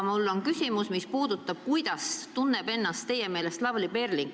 Mul on küsimus, kuidas tunneb ennast teie meelest Lavly Perling.